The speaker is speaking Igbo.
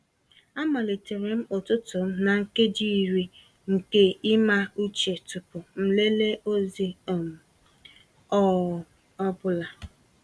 Amalitere m ụtụtụ m na nkeji iri nke ịma uche tupu m lelee ozi um ọ um bụla.